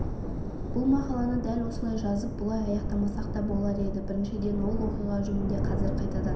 бұл мақаланы дәл осылай жазып бұлай аяқтамасақ та болар еді біріншіден ол оқиға жөнінде қазір қайтадан